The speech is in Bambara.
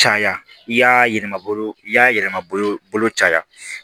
Caya i y'a yɛlɛma bolo i y'a yɛlɛ bolo caya